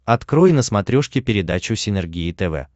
открой на смотрешке передачу синергия тв